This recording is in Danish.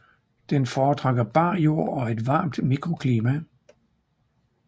Den fortrækker bar jord og et varmt mikroklima